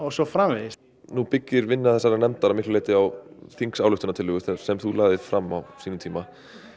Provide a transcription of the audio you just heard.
svo framvegis nú byggir vinna þessarar nefndar að miklu leyti á þingsályktunartillögu sem þú lagðir fram á þínum tíma